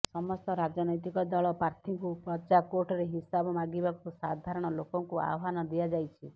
ସମସ୍ତ ରାଜନୈତିକ ଦଳ ପ୍ରାର୍ଥୀଙ୍କୁ ପ୍ରଜାକୋର୍ଟରେ ହିସାବ ମାଗିବାକୁ ସାଧାରଣ ଲୋକଙ୍କୁ ଆହ୍ୱାନ ଦିଆଯାଇଛି